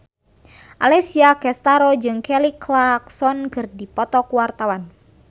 Alessia Cestaro jeung Kelly Clarkson keur dipoto ku wartawan